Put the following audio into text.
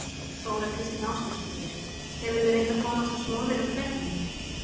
Þóra Kristín Ásgeirsdóttir: Hefurðu reynt að komast á snoðir um hvernig?